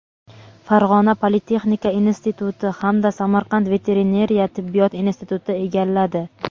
Farg‘ona politexnika instituti hamda Samarqand veterinariya tibbiyot instituti egalladi.